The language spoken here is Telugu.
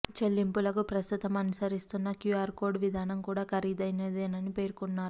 చెల్లింపులకు ప్రస్తుతం అనుసరిస్తున్న క్యూఆర్ కోడ్ విధానం కూడా ఖరీదైనదేనని పేర్కొన్నారు